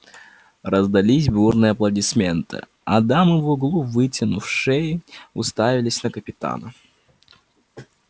раздались бурные аплодисменты а дамы в углу вытянув шеи уставились на капитана